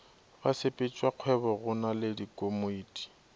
basepetšakgwebo go na le dikomiti